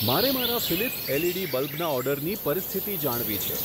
મારે મારા Philips LED બલ્બના ઓર્ડરની પરિસ્થિતિ જાણવી છે.